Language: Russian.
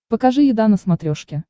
покажи еда на смотрешке